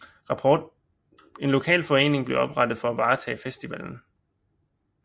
En lokal forening blev oprettet for at varetage festivallen